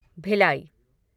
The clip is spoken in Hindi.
भिलाई